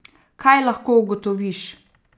Kaj lahko ugotoviš?